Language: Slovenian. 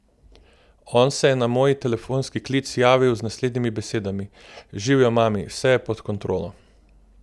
On se je na moj telefonski klic javil z naslednjimi besedami: 'Živjo, mami, vse je pod kontrolo.